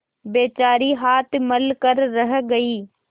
बेचारी हाथ मल कर रह गयी